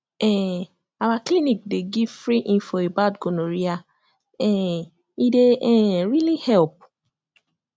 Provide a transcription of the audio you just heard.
um our clinic dey give free info about gonorrhea um e dey um really help